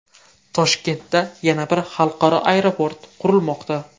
Toshkentda yana bir xalqaro aeroport qurilmoqda.